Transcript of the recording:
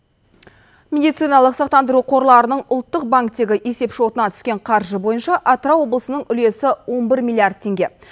медициналық сақтандыру қорларының ұлттық банктегі есепшотына түскен қаржы бойынша атырау облысының үлесі он бір миллиард теңге